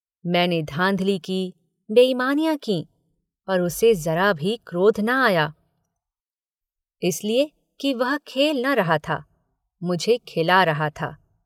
मैंने धाँधली की बेईमानियाँ की पर उसे ज़रा भी क्रोध न आया इसलिए कि वह खेल न रहा था मुझे खेला रहा था